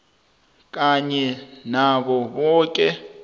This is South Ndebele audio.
kanye nabo boke